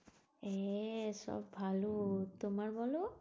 এ সব ভালো। তোমার বলো?